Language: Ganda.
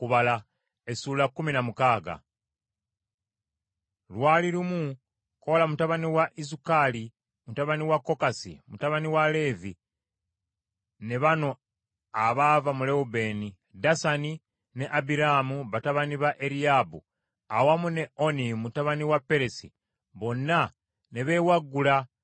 Lwali lumu, Koola mutabani wa Izukali, mutabani wa Kokasi, mutabani wa Leevi, ne bano abava mu Lewubeeni, Dasani ne Abiraamu batabani ba Eriyaabu, awamu ne Oni mutabani wa Peresi, bonna ne beewaggula